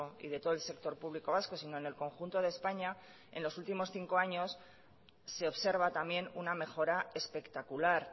y de todo el sector público vasco sino en el conjunto de españa en los últimos cinco años se observa también una mejora espectacular